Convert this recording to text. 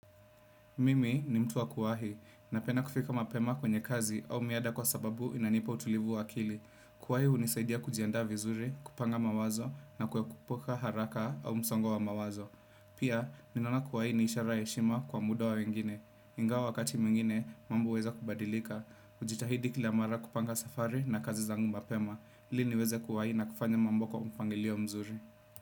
Mimi ni mtu wa kuwahi, napenda kufika mapema kwenye kazi au miada kwa sababu inanipa utulivu wa akili. Kuwahi hunisaidia kujiandaa vizuri, kupanga mawazo na kuekupuka haraka au msongo wa mawazo. Pia, ninaona kuwahi ni ishara ya heshima kwa muda wa wengine. Ingawa wakati mwingine, mambo huweza kubadilika. Hujitahidi kila mara kupanga safari na kazi zangu mapema. Ili niweza kuwahi na kufanya mambo kwa mfangilio mzuri.